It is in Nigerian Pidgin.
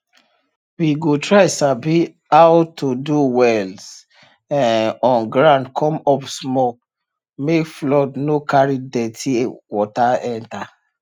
we go try sabi how to do wells um on ground come up small make flood no carry dirty water enter